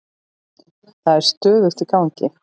Það er stöðugt í gangi.